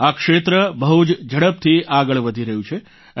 આ ક્ષેત્ર બહુ જ ઝડપથી આગળ વધી રહ્યું છે